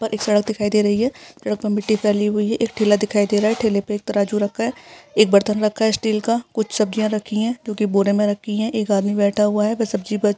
एक सड़क दिखाई दे रही है सड़क पे मिट्टी फैली हुई है एक ठेला दिखाई दे रहा है ठेले पे एक तराजू रखा है एक बर्तन रखा है स्टील का कुछ सब्जियां रखी हैं जो कि बोरे में रखी हैं एक आदमी बैठा हुआ है वह सब्जी बेच--